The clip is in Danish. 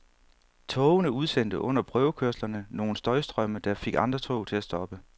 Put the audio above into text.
Togene udsendte under prøvekørslerne nogle støjstrømme, der fik andre tog til at stoppe.